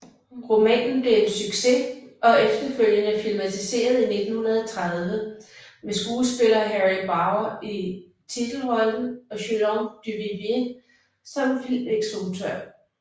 Romanen blev en succes og efterfølgende filmatiseret i 1930 med skuespiller Harry Baur i titelrollen og Julien Duvivier som filminstruktør